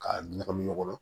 K'a ɲagami ɲɔgɔn na